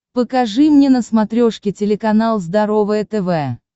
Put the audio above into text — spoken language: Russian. покажи мне на смотрешке телеканал здоровое тв